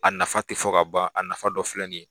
A nafa tɛ fɔ ka ban a nafa dɔ filɛ nin ye